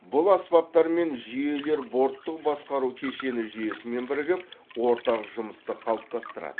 бұл аспаптар мен жүйелер борттық басқару кешені жүйесімен бірігіп ортақ жұмысты қалыптастырады